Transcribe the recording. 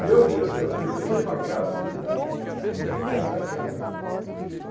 E eu, eu tenho uma casa ali perto da câmera.